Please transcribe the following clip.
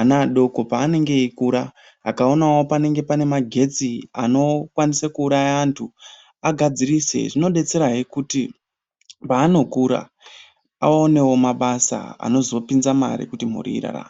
ana adoko paanenge eikura akaonawo panenge pane magetsi anokwanisa kuuraya antu agadzirise. Zvinodetserahe kuti paanokura aonewo mabasa anozopinza mare kuti mhuri irarame.